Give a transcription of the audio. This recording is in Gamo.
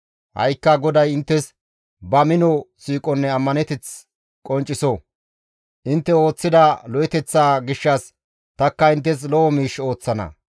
Ha7ikka GODAY inttes ba mino siiqonne ammaneteth qoncciso; intte ooththida lo7eteththaa gishshas tanikka inttes lo7o miish ooththana.